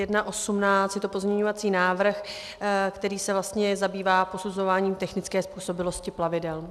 Je to pozměňovací návrh, který se vlastně zabývá posuzováním technické způsobilosti plavidel.